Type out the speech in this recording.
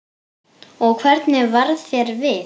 Og hvernig varð þér við?